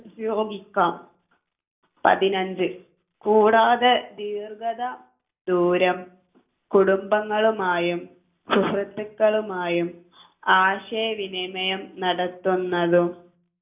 ഉപയോഗിക്കാം പതിനഞ്ച് കൂടാതെ ദീർഘത ദൂരം കുടുംബങ്ങളുമായും സുഹൃത്തുക്കളുമായും ആശയവിനിമയം നടത്തുന്നതും